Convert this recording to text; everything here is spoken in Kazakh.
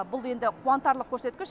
бұл енді қуантарлық көрсеткіш